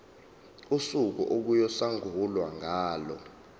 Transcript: usuku okuyosungulwa ngalo